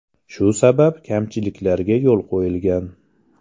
Shu sabab kamchiliklarga yo‘l qo‘yilgan.